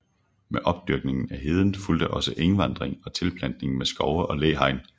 Med opdyrkningen af heden fulgte også engvanding og tilplantning med skove og læhegn